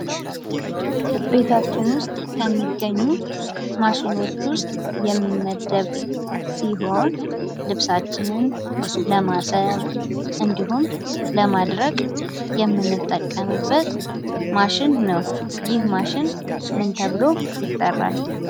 ቤታችን ውስጥ ከሚገኙ ማሽኖች ውስጥ የሚመደብ ሲሆን ፤ ልብሳችንን ለማጠብ እንዲሁም ለማድረቅ የምንጠቀምበት ማሽን ነው። ይህ ማሽን ምን ተብሎ ይጠራል?